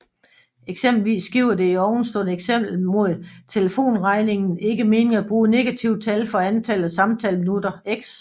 Eksempelvis giver det i ovenstående eksempel med telefonregningen ikke mening at bruge negative tal for antallet af samtaleminutter x